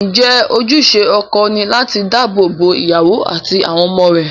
Ǹjẹ́ ojúṣe ọkọ ni láti dáàbò bo ìyàwó àti àwọn ọmọ rẹ̀?